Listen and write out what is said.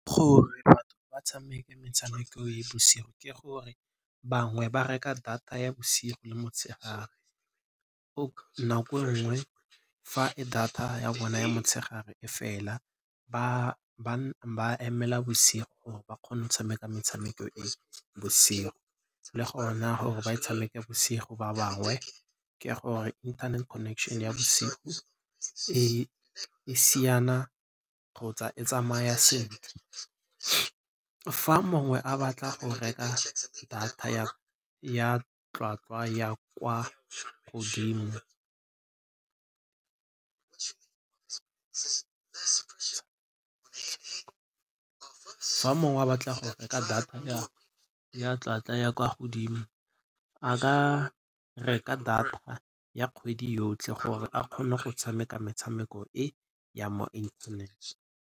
Gore batho ba tshameke metshameko e bosigo ke gore bangwe ba reka data ya bosigo le motshegare, nako e nngwe fa data ya bona ya motshegare e fela ba emela bosigo gore ba kgone go tshameka metshameko e bosigo. Le gona gore ba e tshameka bosigo ba bangwe ke gore internet connection ya bosigo e siana kgotsa e tsamaya sentle. Fa mongwe a batla go reka data ya tlhwatlhwa ya kwa godimo a ka reka data ya kgwedi yotlhe gore a kgone go tshameka metshameko e ya mo .